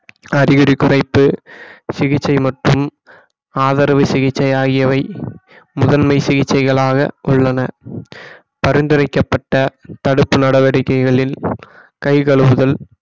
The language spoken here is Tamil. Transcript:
அறிகுறி குறைப்பு சிகிச்சை மற்றும் ஆதரவு சிகிச்சை ஆகியவை முதன்மை சிகிச்சைகளாக உள்ளன பரிந்துரைக்கப்பட்ட தடுப்பு நடவடிக்கைகளில் கை கழுவுதல்